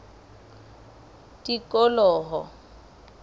tikoloho